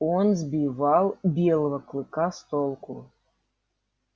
он сбивал белого клыка с толку